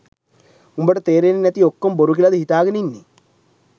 උඹට තේරෙන්නේ නැති ඔක්කෝම බොරු කියලද හිතාගෙන ඉන්නේ